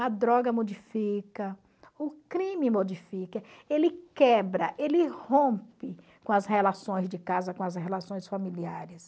A droga modifica, o crime modifica, ele quebra, ele rompe com as relações de casa, com as relações familiares.